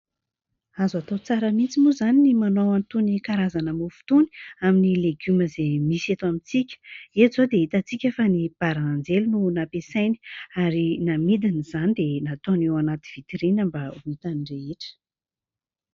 Azo atao tsara mihintsy moa izany ny manao an' itony karazana mofo itony amin' ny legioma izay misy eto amintsika. Eto izao dia hitantsika fa ny barananjely no nampiasainy ary namidiny izany dia nataony eo anaty vitirina mba ho hitan' ny rehetra.